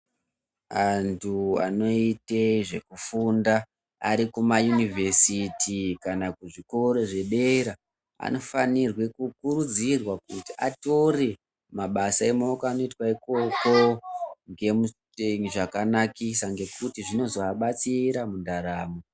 Antu anoite zvekufunda arikumayunuvhesiti kana kuzvikoro zvedera anofanirwe kukurudzirwa kuti store mabasa emaoko anoitwa ikoko ngemusetengi zvakanakisa ngekuti zvinozoabatsira mundaramo.